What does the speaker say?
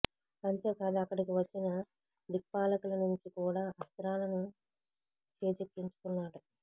అంతేకాదు అక్కడికి వచ్చిన దిక్పాలకుల నుంచి కూడా అస్త్రాలను చేజిక్కించుకున్నాడు